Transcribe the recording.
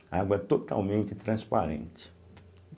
A água é totalmente transparente.